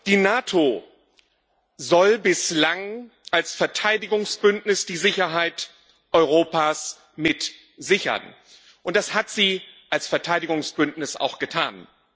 Die NATO soll bislang als Verteidigungsbündnis die Sicherheit Europas mit sichern, und das hat sie als Verteidigungsbündnis auch getan.